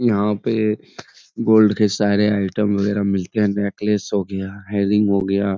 यहाँ पे गोल्ड के सारे आइटम वगेरा मिलते है नेकलेस हो गिया हेयर रिंग हो गिया।